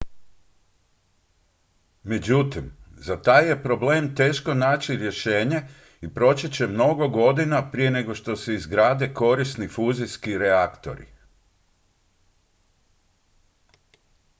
međutim za taj je problem teško naći rješenje i proći će mnogo godina prije nego što se izgrade korisni fuzijski reaktori